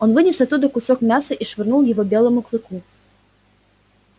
он вынес оттуда кусок мяса и швырнул его белому клыку